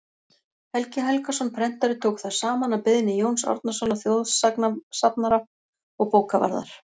helgi helgason prentari tók þær saman að beiðni jóns árnasonar þjóðsagnasafnara og bókavarðar